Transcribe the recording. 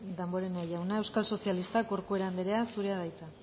damborenea jauna euskal sozialistak corcuera andrea zurea da hitza